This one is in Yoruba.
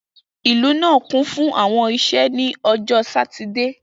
Ilu naa kun fun awọn iṣẹ ni Ọjọ Satidee